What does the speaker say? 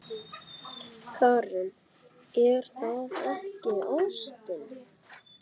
Karen: Er það ekki ástin?